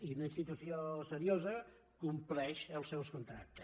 i una institució seriosa compleix els seus contractes